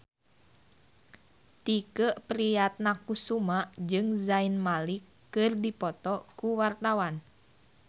Tike Priatnakusuma jeung Zayn Malik keur dipoto ku wartawan